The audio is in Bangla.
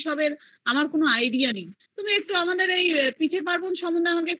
সেইসব এর কোনো idea নেই তুমি আমাকে একটু তোমাদের পিঠের পার্বণ সম্পর্কে কিছু